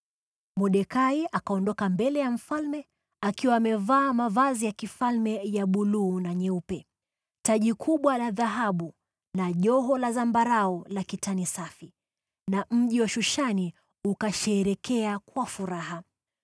Mordekai akaondoka mbele ya mfalme akiwa amevaa mavazi ya kifalme ya buluu na nyeupe, taji kubwa la dhahabu na joho la zambarau la kitani safi. Na mji wa Shushani ukasherehekea kwa furaha.